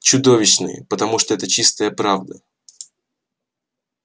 чудовищные потому что это чистая правда